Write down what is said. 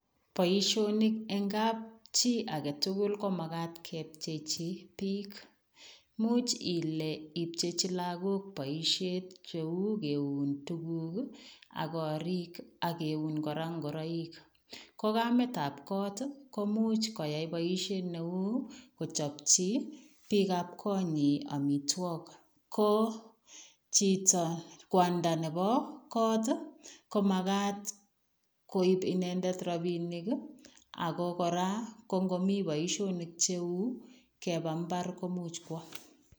Boisionik en kapchii age tugul ko magaat kepchei chii biik imuuch Ile ipchechii lagook boisiet che uu kiuun tuguuk ii ak koriig ak keuun kora ingoraik ko Kamet ab koot komuuch koyai boisiet ne uu kochapchii biik ab Koo nyiin amitwagiik ko chitoo kwandaa nebo koot ii ko magaat koib inendet rapinik ako kora ko ngomii boisionik che uu kebaa mbaar komuuch kowaah.